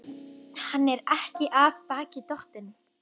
Hann er ekki af baki dottinn.